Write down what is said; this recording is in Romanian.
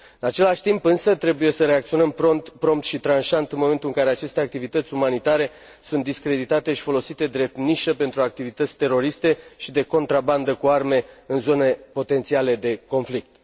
În același timp însă trebuie să reacționăm prompt și tranșant în momentul în care aceste activități umanitare sunt discreditate și folosite drept nișă pentru activități teroriste și de contrabandă cu arme în zone potențiale de conflict.